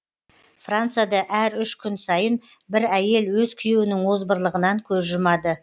францияда әр үш күн сайын бір әйел өз күйеуінің озбырлығынан көз жұмады